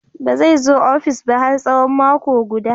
Ba zai zo ofis ba har tsawon mako guda.